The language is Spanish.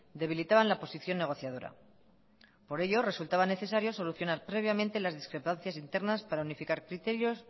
debilitaban la posición negociadora por ello resultaba necesario solucionar previamente las discrepancias internas para unificar criterios